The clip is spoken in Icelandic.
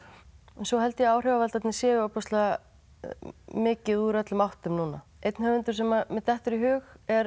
svo held ég að áhrifavaldarnir séu ofboðslega mikið úr öllum áttum núna einn höfundur sem mér dettur í hug er